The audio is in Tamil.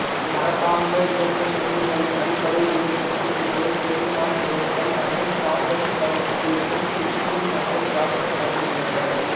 மரபார்ந்த இயக்க மின்னியலின் அடிப்படை இயற்பியல் கூறுகளை பெயின்மான் லெய்டன் மற்றும் சான்ட்சு பனோவ்ஸ்கியும் பிலிப்சும் மற்றும் ஜாக்சன் வழங்கியுள்ளனர்